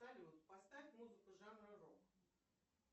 салют поставь музыку жанра рок